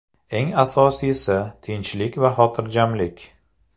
Eng asosiysi – tinchlik va xotirjamlik.